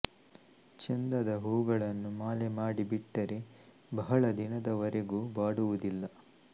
ಚೆಂದದ ಹೂಗಳನ್ನು ಮಾಲೆ ಮಾಡಿ ಬಿಟ್ಟರೆ ಬಹಳ ದಿನದವರೆಗೂ ಬಾಡುವುದಿಲ್ಲ